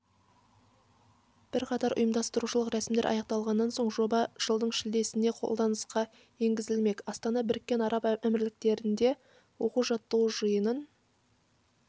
бірқатар ұйымдастырушылық рәсімдер аяқталған соң жоба жылдың шілдесінде қолданысқа енгізілмек астана біріккен араб әмірліктерінде оқу-жаттығу жиынын